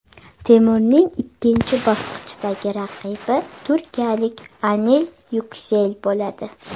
Temurning ikkinchi bosqichdagi raqibi turkiyalik Anil Yuksel bo‘ladi.